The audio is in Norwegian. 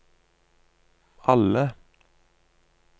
alle